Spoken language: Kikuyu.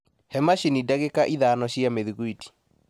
he macini ndagĩka ithano cia mĩthugwiti